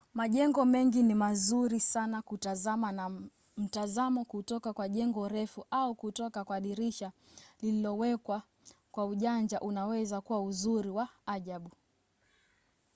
majengo mengi ni mazuri sana kutazama na mtazamo kutoka kwa jengo refu au kutoka kwa dirisha lililowekwa kwa ujanja unaweza kuwa uzuri wa ajabu